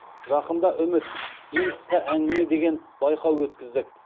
жақында үміт ең қысқа әңгіме деген байқау өткіздік